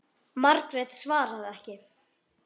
Margrét svaraði ekki.